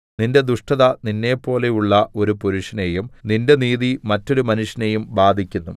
നിന്റെ ദുഷ്ടത നിന്നെപ്പോലെയുള്ള ഒരു പുരുഷനെയും നിന്റെ നീതി മറ്റൊരു മനുഷ്യനെയും ബാധിക്കുന്നു